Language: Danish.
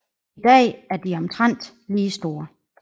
I dag er de omtrent lige store